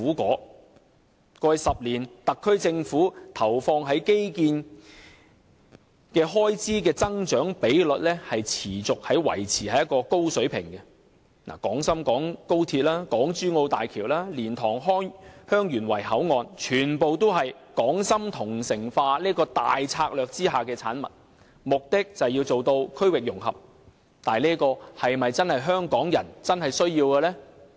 過去10年，特區政府投放在基建開支的增長比率持續維持在高水平，例如廣深港高鐵、港珠澳大橋、蓮塘香園圍口岸等均是港深同城化這大策略下的產物，目的是要做到區域融合，但這是否真的是香港人所需要的？